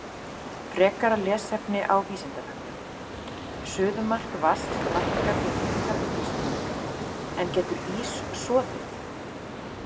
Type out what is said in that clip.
Frekara lesefni á Vísindavefnum: Suðumark vatns lækkar við minnkandi þrýsting, en getur ís soðið?